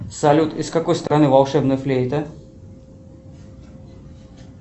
салют из какой страны волшебная флейта